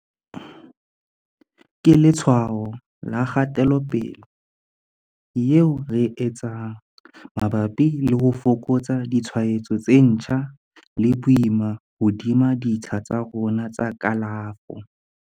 Ke letshwao la kgatelopele eo re e etsang mabapi le ho fokotsa ditshwaetso tse ntjha le boima hodima ditsha tsa rona tsa kalafo.